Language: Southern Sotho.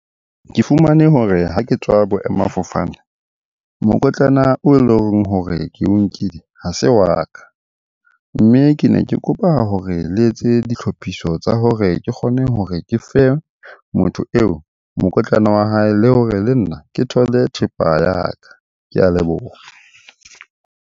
Ke fumane hore ha ke tswa boemafofane, mokotlana oo e leng hore ke o nkile ha se wa ka. Mme ke ne ke kopa hore le etse ee dihlophiso tsa hore ke kgone hore ke fe motho eo mokotlana wa hae, le hore le nna ke thole thepa ya ka. Ke a leboha.